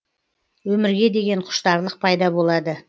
өмірге деген құштарлық пайда болады